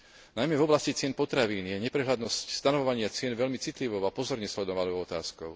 Najmä v oblasti cien potravín je neprehľadnosť stanovovania cien veľmi citlivou a pozorne sledovanou otázkou.